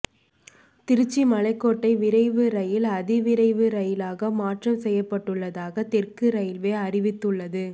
திருச்சி மலைக்கோட்டை விரைவு ரயில் அதிவிரைவு ரயிலாக மாற்றம் செய்யப்பட்டுள்ளதாக தெற்கு ரயில்வே அறிவித்துள்ளது